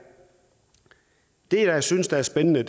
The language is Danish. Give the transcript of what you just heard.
det jeg synes er spændende